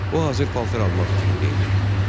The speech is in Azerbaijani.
O hazır paltar almaq fikrində idi.